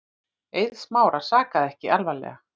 Eið Smára sakaði ekki alvarlega.